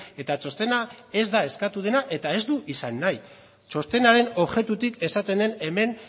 eta txostena ez da eskatu dena eta ez du izan nahi txostenaren objektutik esaten den hemen